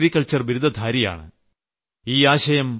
സോനൽ ഒരു അഗ്രികൾച്ചർ ബിരുദധാരിണിയാണ്